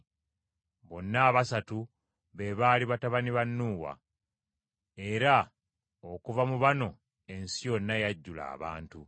Bonna abasatu be baali batabani ba Nuuwa; era okuva mu bano ensi yonna yajjula abantu.